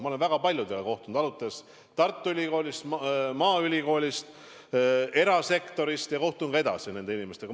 Ma olen väga paljudega kohtunud, alates Tartu Ülikoolist, Maaülikoolist, erasektorist, ja kohtun nende inimestega ka edaspidi.